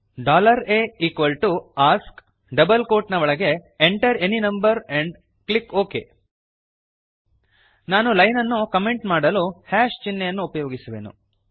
a equal to ask double quote ನ ಒಳಗೆ enter any number and click okay ನಾನು line ಅನ್ನು comment ಮಾಡಲು hash ಚಿಹ್ನೆಯನ್ನು ಉಪಯೋಗಿಸುವೆನು